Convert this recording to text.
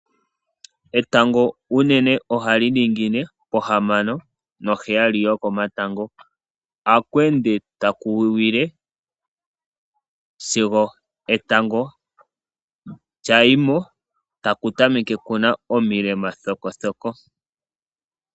Etango unene ohali ningine pohamano noheyali yokomatango, oha kweende taku wiwile sigo etango lya yimo. Taku tameke kuna omilema thokothoko.